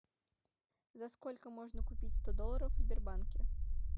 за сколько можно купить сто долларов в сбербанке